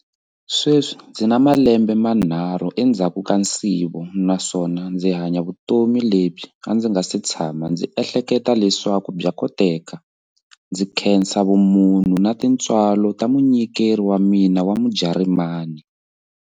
Sweswi ndzi na malembe manharhu endzhaku ka nsivo naswona ndzi hanya vutomi lebyi a ndzi nga si tshama ndzi ehleketa leswaku bya koteka, ndzi khensa vumunhu na tintswalo ta munyikeri wa mina wa Mujarimani.